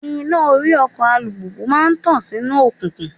Iná orí ọkọ̀ alùpùpù máa ń tàn sínú òkùnkùn.